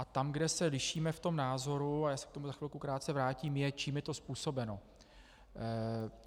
A tam, kde se lišíme v tom názoru - a já se k tomu za chvíli krátce vrátím - je, čím je to způsobeno.